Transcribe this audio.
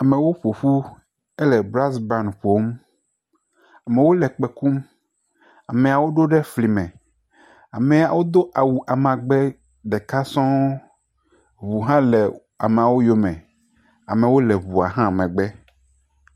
Amewo ƒo ƒu, ele brasban ƒom. Amewo le kpẽ kum. Ameawo ɖo ɖe fli me. Ameawo do awu amagbe ɖeka sɔŋ. Ŋu hã le amawo yome. Amawo le ŋua hã megbe.